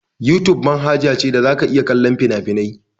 Yutub manhaja ce da za ka iya kallon fina-finai.